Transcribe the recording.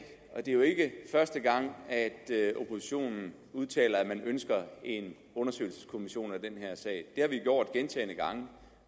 og det er jo ikke første gang at oppositionen udtaler at man ønsker en undersøgelseskommission i den her sag det har vi gjort gentagne gange